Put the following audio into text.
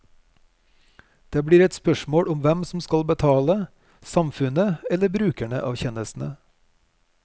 Det blir et spørsmål om hvem som skal betale, samfunnet eller brukerne av tjenestene.